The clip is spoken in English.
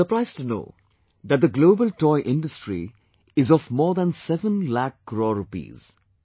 You will be surprised to know that the Global Toy Industry is of more than 7 lakh crore rupees